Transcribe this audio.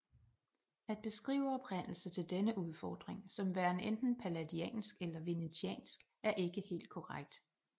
At beskrive oprindelse til denne udformning som værende enten palladiansk eller venetiansk er ikke helt korrekt